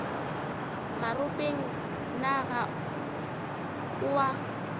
maropeng na ga o a